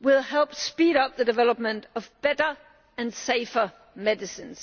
will help speed up the development of better and safer medicines.